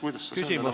Küsimus, palun!